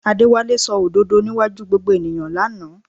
Adéwálé sọ òdodo níwájú gbogbo ènìyàn lánàá